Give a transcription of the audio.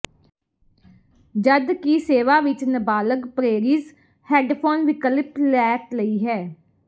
ਜਦ ਕਿ ਸੇਵਾ ਵਿੱਚ ਨਾਬਾਲਗ ਪਰੇਰੀਜ਼ ਹੈੱਡਫੋਨ ਵਿਕਲਪਿਕ ਲੈ ਲਈ ਹੈ